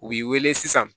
U b'i wele sisan